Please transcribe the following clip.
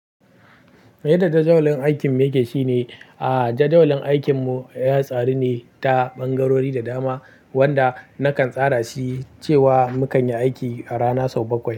Yadda jadawalin aikin yake shine, a jadawalin aikinmu ya tsari ne ta ɓangarori da dama wanda nakan tsara shi cewa mu kan yi aiki a rana sau bakwai.